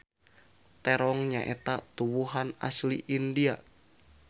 Terong nyaeta tuwuhan asli India.